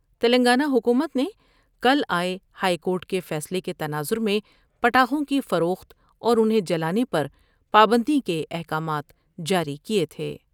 تلنگانہ حکومت نے کل آۓ ہائیکورٹ کے فیصلے کے تناظر میں پٹاخوں کی فروخت اور انہیں جلانے پر پابندی کے احکامات جاری کئے تھے ۔